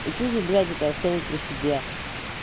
и ты же блядь это оставил при себе